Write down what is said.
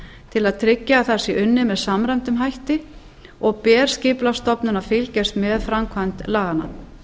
til að tryggja að það sé unnið með samræmdum hætti og ber skipulagsstofnun að fylgjast með framkvæmd laganna